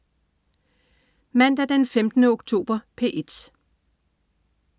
Mandag den 15. oktober - P1: